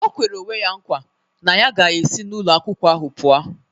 O kwere onwe ya nkwa na ya ga-esi n'ụlọ akwụkwọ ahụ pụo.